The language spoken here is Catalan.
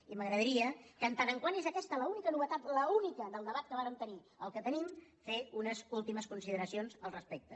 i m’agradaria en tant que és aquesta l’única novetat l’única del debat que vàrem tenir el que tenim fer unes últimes consideracions al respecte